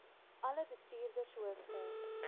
alle bestuurders hoofde